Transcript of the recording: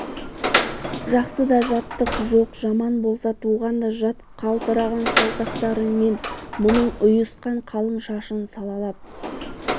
жақсы да жаттық жоқ жаман болса туған да жат қалтыраған саусақтарымен мұның ұйысқан қалың шашын салалап